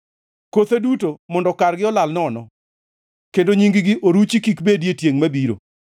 Kothe duto mondo kargi olal nono, kendo nying-gi oruchi kik bedi e tiengʼ mabiro.